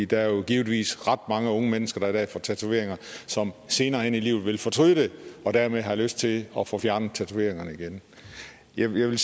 der er givetvis ret mange unge mennesker der i dag får tatoveringer og som senere hen i livet vil fortryde det og dermed have lyst til at få fjernet tatoveringerne igen jeg vil